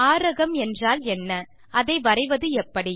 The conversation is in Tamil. ஆரகம் என்றால் என்ன அதை வரைவதெப்படி